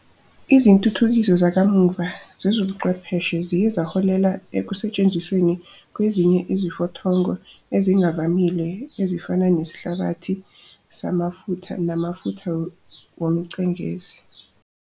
Izintuthukiso zakamuva zezobuchwepheshe ziye zaholela ekusetshenzisweni kwezinye izifothongo ezingavamile ezifana nesihlabathi samafutha namafutha womcengezi.